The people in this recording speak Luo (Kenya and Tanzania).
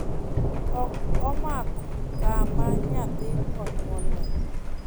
ok omoko kama nyathi onyuole